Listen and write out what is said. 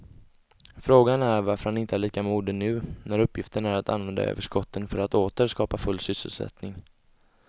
Frågan är varför han inte är lika modig nu när uppgiften är att använda överskotten för att åter skapa full sysselsättning.